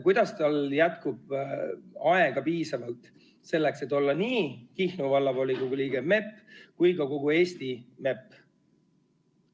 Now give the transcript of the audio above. Kuidas tal jätkub aega, et olla nii Kihnu Vallavolikogu liige kui ka kogu Eesti MEP?